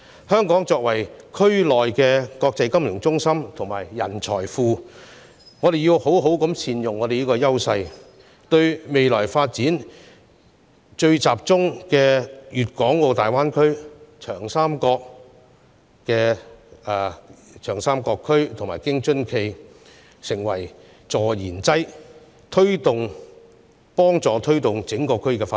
香港作為區內的國際金融中心及人才庫，理應善用本身的優勢，為未來發展最集中的粵港澳大灣區、長三角區及京津冀"助燃"，協助推動整個區的發展。